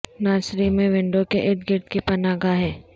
nursery میں window کے ارد گرد کی پناہ گاہیں